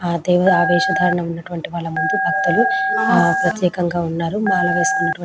ఆ దేవుడు అదేశ వాళ్ల ముందు బక్తుల్లు ప్రత్యేకంగా వున్నారు. ఆ వాళ్ళు వేసుకున్నా --